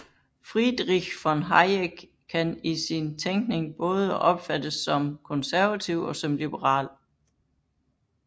Friedrich von Hayek kan i sin tænkning både opfattes som konservativ og som liberal